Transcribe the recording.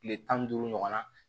Tile tan ni duuru ɲɔgɔnna